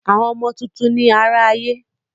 Àwọn ọmọ tuntun ni àrà ayé.